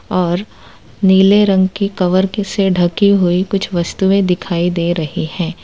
और नीले रंग की कवर की से ढकी हुई कुछ वस्तुएं दिखाई दे रही हैं।